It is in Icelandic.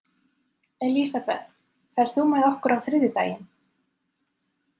Elisabeth, ferð þú með okkur á þriðjudaginn?